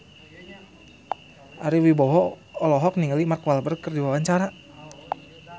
Ari Wibowo olohok ningali Mark Walberg keur diwawancara